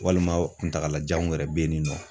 Walima kuntagalajanw yɛrɛ be yen ni nɔ